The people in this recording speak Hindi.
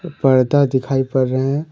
पर्दा दिखाई पड़ रहे हैं।